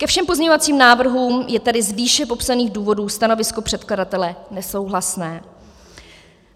Ke všem pozměňovacím návrhům je tedy z výše popsaných důvodů stanovisko předkladatele nesouhlasné.